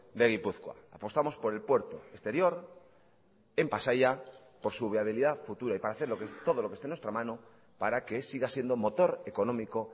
de gipuzkoa apostamos por el puerto exterior en pasaia por su viabilidad futura y para hacer todo lo que esté en nuestra mano para que siga siendo motor económico